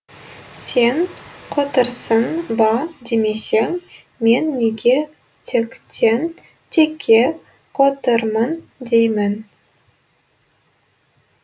сен қотырсың ба демесең мен неге тектен текке қотырмын деймін